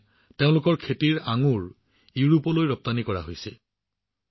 এতিয়া তাত উৎপাদিত আঙুৰ ইউৰোপলৈও ৰপ্তানি কৰা হৈছে